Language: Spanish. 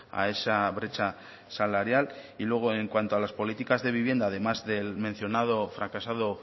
a esa brecha salarial y luego en cuanto a las políticas de vivienda además del mencionado y fracasado